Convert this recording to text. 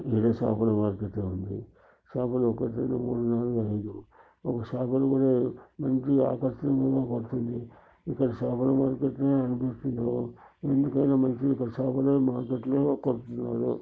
ఇదేదో చాపల మార్కెట్ లాగా కనిపిస్తుంది చాపలు ఒకటి రెండూ మూడు నాలుగు ఐదు ఒక చాప ఆకర్షణీయంగా కనిపిస్తుంది ఇక్కడ చాపల మార్కెట్ ల అనిపిస్తుంది ఎందుకైనా మంచిది ఇక్కడ చాపలే మార్కెట్ లాగా కనిపిస్తుంది.